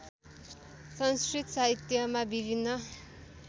संस्कृत साहित्यमा विभिन्न